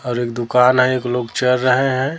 और एक दुकान है एक लोग चल रहे हैं।